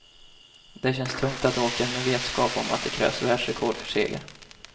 Det känns tungt att åka med vetskap om att det krävs världsrekord för seger.